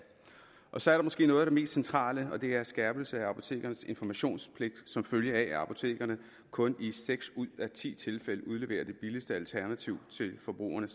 og så er der måske noget af det mest centrale og det er en skærpelse af apotekernes informationspligt som følge af at apotekerne kun i seks ud af ti tilfælde udleverer det billigste alternativ til forbrugerne